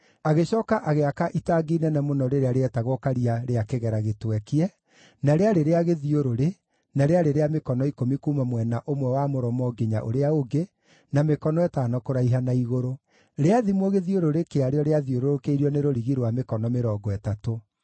Agĩcooka agĩaka itangi inene mũno rĩrĩa rĩetagwo Karia rĩa kĩgera gĩtwekie, na rĩarĩ rĩa gĩthiũrũrĩ, na rĩarĩ rĩa mĩkono ikũmi kuuma mwena ũmwe wa mũromo nginya ũrĩa ũngĩ, na mĩkono ĩtano kũraiha na igũrũ. Rĩathimwo gĩthiũrũrĩ kĩarĩo rĩathiũrũrũkĩirio nĩ rũrigi rwa mĩkono mĩrongo ĩtatũ.